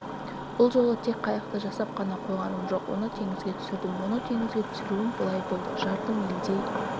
бұл жолы тек қайықты жасап қана қойғаным жоқ оны теңізге түсірдім оны теңізге түсіруім былай болды жарты мильдей